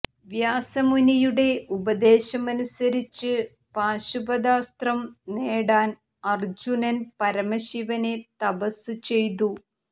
വ്യാസമുനിയുടെ ഉപദേശമനുസരിച്ച് പാശുപതാസ്ത്രം നേടാൻ അർജുനൻ പരമശിവനെ തപസ് ചെയ്യ്തു